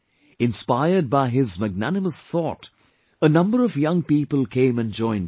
Inspired by his magnanimous thought, a number of young people came and joined him